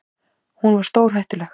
Hún var stórhættuleg.